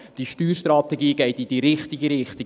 Diese Steuerstrategie geht in die richtige Richtung.